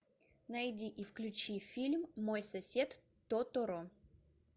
найди и включи фильм мой сосед тоторо